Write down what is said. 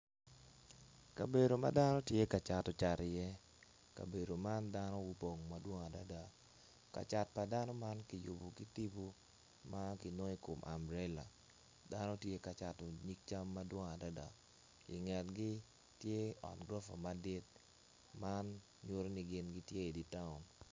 Kabedo ma dano tye ka cato cat iye kabedo man dano gupong madwong adada ka cat pa dano man kiyubo ki tipo ma kinongo i kom ambrela dano tye ka cato nyig cam madwong adada ingetgi tye ot gurofa madit man nyuto ni gin gitye idi taun.